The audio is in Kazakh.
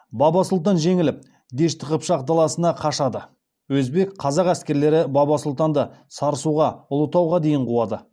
баба сұлтан жеңіліп дешті қыпшақ даласына қашады өзбек қазақ әскерлері баба сұлтанды сарысуға ұлытауға дейін қуады